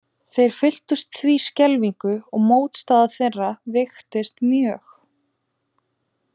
Þeir fylltust því skelfingu og mótstaða þeirra veiktist mjög.